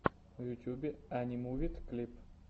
в ютубе анимувид клип